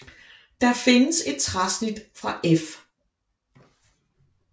Der findes et træsnit fra F